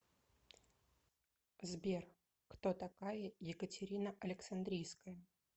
сбер кто такая екатерина александрийская